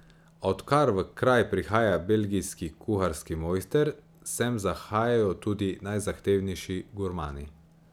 A odkar v kraj prihaja belgijski kuharski mojster, sem zahajajo tudi najzahtevnejši gurmani.